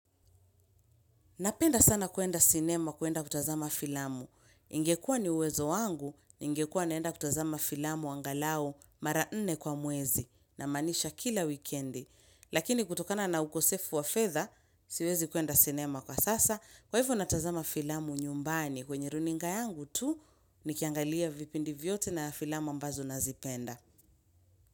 Napenda sana kuenda sinema kuenda kutazama filamu. Ingekua ni uwezo wangu, ningekua naenda kutazama filamu angalau mara nne kwa mwezi namaanisha kila wikendi. Lakini kutokana na ukosefu wa fedha, siwezi kuenda sinema kwa sasa. Kwa hivyo natazama filamu nyumbani kwenye runinga yangu tu, nikiangalia vipindi vyote na filamu ambazo nazipenda.